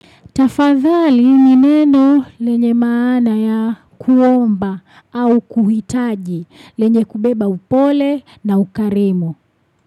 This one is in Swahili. Tafadhali ni neno lenye maana ya kuomba au kuhitaji. Lenye kubeba upole na ukarimu.